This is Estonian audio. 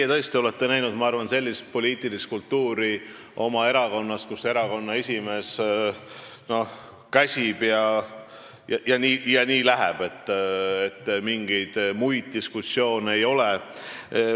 Ma arvan, et teie olete oma erakonnas tõesti näinud sellist poliitilist kultuuri, et erakonna esimees käsib ja nii lähebki, mingeid muid diskussioone ei ole.